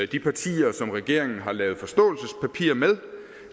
de partier som regeringen har lavet forståelsespapir med